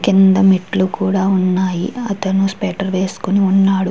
కింద మెట్లు కూడా ఉన్నాయి. అతని స్వేటర్ వేసుకుని ఉన్నాడు.